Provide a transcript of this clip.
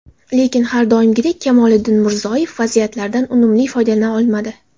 Lekin har doimgidek Kamoliddin Murzoyev vaziyatlardan unumli foydalana olmadi.